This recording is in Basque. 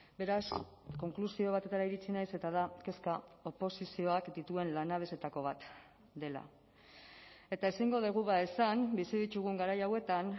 beraz konklusio batetara iritsi naiz eta da kezka oposizioak dituen lanabesetako bat dela eta ezingo dugu esan bizi ditugun garai hauetan